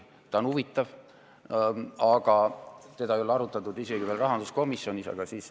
See on huvitav, aga seda ei ole arutatud isegi veel rahanduskomisjonis.